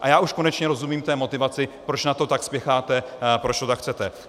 A já už konečně rozumím té motivaci, proč na to tak spěcháte, proč to tak chcete.